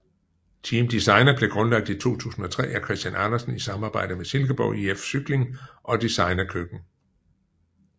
Team Designa blev grundlagt i 2003 af Christian Andersen i samarbejde med Silkeborg IF Cykling og Designa Køkken